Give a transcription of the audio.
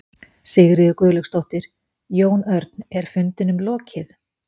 Sigríður Guðlaugsdóttir: Jón Örn, er fundinum lokið?